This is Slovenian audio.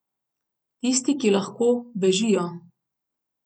Tisti, ki lahko, bežijo.